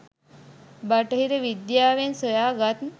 බටහිර විද්‍යාවෙන් සොයාගත්